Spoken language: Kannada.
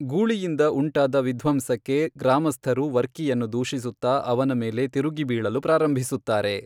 ಗೂಳಿಯಿಂದ ಉಂಟಾದ ವಿಧ್ವಂಸಕ್ಕೆ ಗ್ರಾಮಸ್ಥರು ವರ್ಕಿಯನ್ನು ದೂಷಿಸುತ್ತಾ ಅವನ ಮೇಲೆ ತಿರುಗಿಬೀಳಲು ಪ್ರಾರಂಭಿಸುತ್ತಾರೆ.